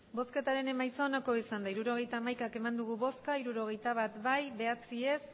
emandako botoak hirurogeita hamaika bai hirurogeita bat ez bederatzi